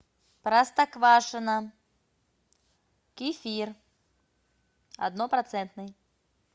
простоквашино кефир однопроцентный